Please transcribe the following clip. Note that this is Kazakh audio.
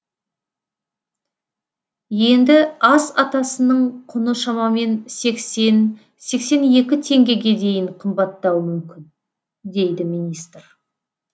енді ас атасының құны шамамен сексен сексен екі теңгеге дейін қымбаттауы мүмкін дейді министр